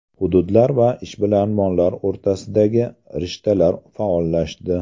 Hududlar va ishbilarmonlar o‘rtasidagi rishtalar faollashdi.